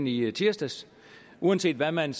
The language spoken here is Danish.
i tirsdags uanset hvad man